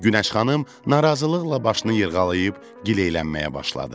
Günəş xanım narazılıqla başını yırğalayıb gileylənməyə başladı.